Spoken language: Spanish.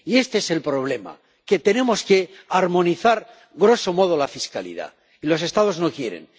Y este es el problema que tenemos que armonizar la fiscalidad, y los Estados no quieren.